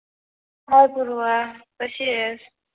हाय पूर्वा कशी आहेस